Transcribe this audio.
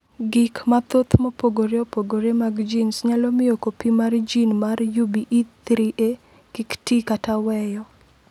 Gik mathoth mopogore opogore mag genes nyalo miyo kopi mar gene mar UBE3A kik ti kata weyo.